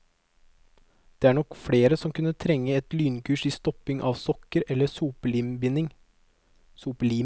Det er nok flere som kunne trenge et lynkurs i stopping av sokker eller sopelimebinding.